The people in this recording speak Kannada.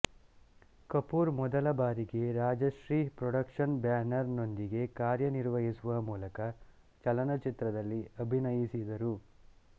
ಕಪೂರ್ ಮೊದಲ ಬಾರಿಗೆ ರಾಜಶ್ರೀ ಪ್ರೋಡಕ್ಷನ್ಸ್ ಬ್ಯಾನರ್ ನೊಂದಿಗೆ ಕಾರ್ಯ ನಿರ್ವಹಿಸುವ ಮೂಲಕ ಚಲನಚಿತ್ರದಲ್ಲಿ ಅಭಿನಯಿಸಿದರು